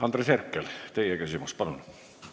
Andres Herkel, teie küsimus, palun!